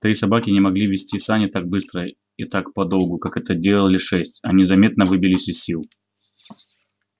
три собаки не могли везти сани так быстро и так подолгу как это делали шесть они заметно выбились из сил